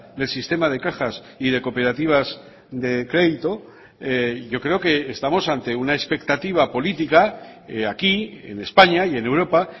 del sistema de cajas y de cooperativas de crédito yo creo que estamos ante una expectativa política aquí en españa y en europa